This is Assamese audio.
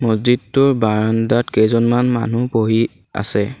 মছজিদটোৰ বাৰাণ্ডাত কেইজনমান মানুহ বহি আছে।